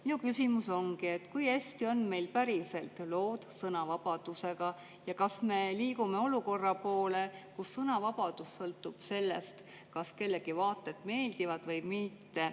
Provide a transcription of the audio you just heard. Minu küsimus ongi: kui hästi on meil päriselt lood sõnavabadusega ja kas me liigume olukorra poole, kus sõnavabadus sõltub sellest, kas kellegi vaated meeldivad või mitte?